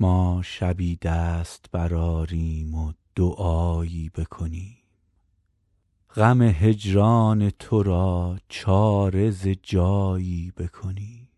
ما شبی دست برآریم و دعایی بکنیم غم هجران تو را چاره ز جایی بکنیم